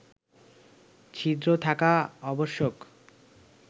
ছিদ্র থাকা আবশ্যক